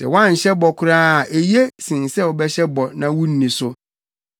Sɛ woanhyɛ bɔ koraa a eye sen sɛ wobɛhyɛ bɔ na wunni so.